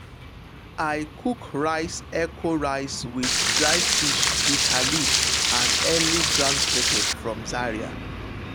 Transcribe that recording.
i cook echo rice with dry fish bitter leaf and early ground pepper from zaria.